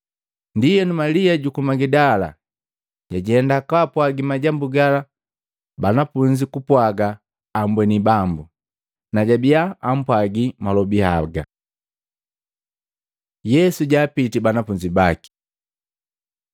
Ndienu Malia juku Magidala jajenda kaapwagi majambu gala banafunzi kupwaga ambweni Bambu, najabiya ampwagi malobi haga. Yesu jaapiti banafunzi baki Matei 28:16-20; Maluko 16:14-18; Luka 24:36-49